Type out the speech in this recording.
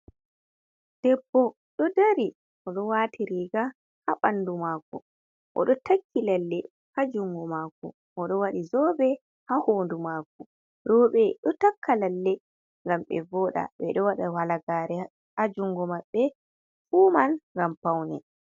Debbo ɗo dari, o ɗo wati riga ha ɓandu mako. o ɗo takki lalle ha jungo mako, o ɗo waɗi zobe ha hondu mako. Rowɓe ɗo takka lalle, ngam be vooɗa. Ɓe ɗo waɗa halagare ha jungo maɓɓe, fu man ngam paune.